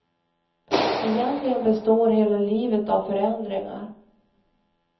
Egentligen består hela livet av förändringar.